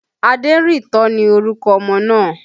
Aderinto ni orúkọ ọmọ náà